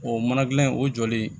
O mana gilan in o jɔlen